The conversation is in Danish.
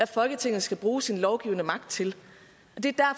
folketinget skal bruge sin lovgivende magt til det